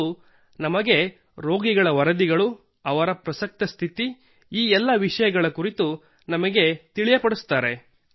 ಮತ್ತು ನಮಗೆ ರೋಗಿಗಳ ವರದಿಗಳು ಅವರ ಪ್ರಸಕ್ತ ಸ್ಥಿತಿ ಈ ಎಲ್ಲಾ ವಿಷಯಗಳ ಕುರಿತು ನಮಗೆ ತಿಳಿಯಪಡಿಸುತ್ತಾರೆ